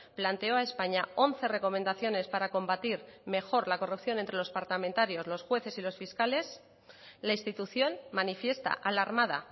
planteó a españa once recomendaciones para combatir mejor la corrupción entre los parlamentarios los jueces y los fiscales la institución manifiesta alarmada